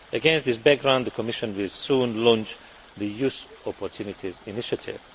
Against this background, the Commission will soon launch the Youth Opportunities Initiative.